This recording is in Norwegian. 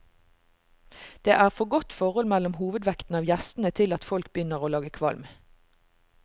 Det er for godt forhold mellom hovedvekten av gjestene til at folk begynner å lage kvalm.